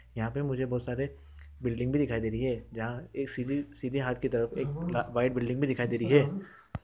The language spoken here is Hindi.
यहाँ पे मुझे बहुत सारे बिल्डिंग भी दिखाई दे रहे है यहाँ सीधे हाथ की तरफ एक व्हाइट बिल्डिंग भी दिखाई दे रही है।